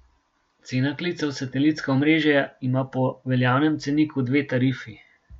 Cena klica v satelitska omrežja ima po veljavnem ceniku dve tarifi.